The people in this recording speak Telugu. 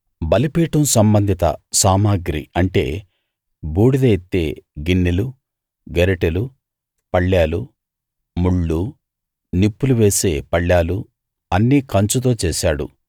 బలిపీఠం సంబంధిత సామగ్రి అంటే బూడిద ఎత్తే గిన్నెలూ గరిటెలు పళ్ళేలూ ముళ్ళూ నిప్పులు వేసే పళ్ళాలు అన్నీ కంచుతో చేశాడు